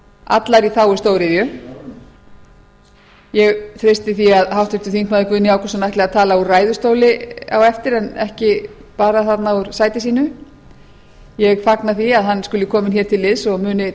allar í þágu stóriðju ég treysti því að háttvirtur þingmaður guðni ágústsson ætli að tala úr ræðustóli á eftir en ekki bara þarna úr sæti sínu ég fagna því að hann skuli kominn hér til liðs